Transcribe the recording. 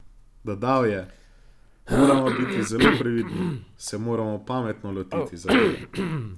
Dodal je: "Moramo biti zelo previdni, se moramo pametno lotiti zadeve.